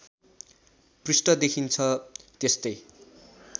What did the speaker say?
पृष्ठ देखिन्छ त्यस्तै